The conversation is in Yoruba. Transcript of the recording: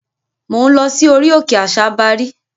Mò ń lọ sí orí òkè àsabàrí.